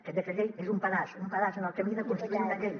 aquest decret llei és un pedaç un pedaç en el camí de construir una llei